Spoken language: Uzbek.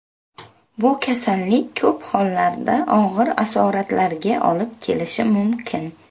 Bu kasallik ko‘p hollarda og‘ir asoratlarga olib kelishi mumkin.